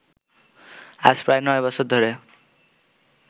আজ প্রায় নয় বছর ধরে